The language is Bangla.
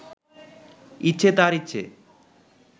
ইচ্ছে তাঁর ইচ্ছে